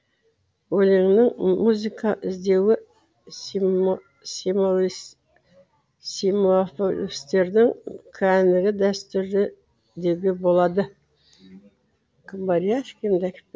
өлеңнен музыка іздеуді символистердің кәнігі дәстүрі деуге болады